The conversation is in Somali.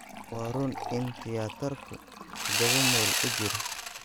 Waa run in tiyaatarku todoba mayl u jiro